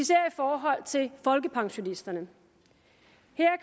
forhold til folkepensionisterne